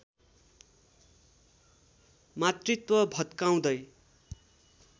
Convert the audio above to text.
मातृत्व भत्काउँदै